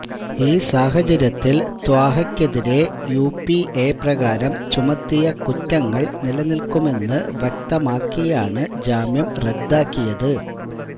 ഈ സാഹചര്യത്തിൽ ത്വാഹയ്ക്കെതിരെ യുഎപിഎ പ്രകാരം ചുമത്തിയ കുറ്റങ്ങള് നിലനില്ക്കുമെന്ന് വ്യ്കതമാക്കിയാണ് ജാമ്യം റദ്ദാക്കിയത്